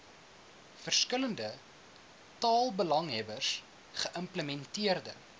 verskillende taalbelanghebbers geïmplementeer